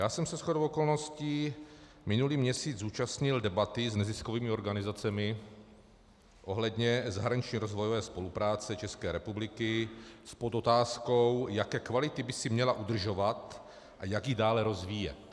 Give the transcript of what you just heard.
Já jsem se shodou okolností minulý měsíc zúčastnil debaty s neziskovými organizacemi ohledně zahraniční rozvojové spolupráce České republiky s podotázkou, jaké kvality by si měla udržovat a jak ji dále rozvíjet.